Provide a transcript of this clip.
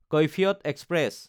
Kaifiyat express